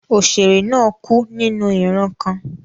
Òṣèrè náà kú nínú ìran kan.